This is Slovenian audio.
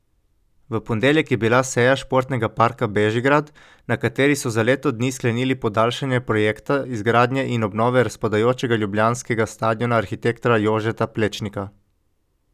V ponedeljek je bila seja Športnega parka Bežigrad, na kateri so za leto dni sklenili podaljšanje projekta izgradnje in obnove razpadajočega ljubljanskega stadiona arhitekta Jožeta Plečnika.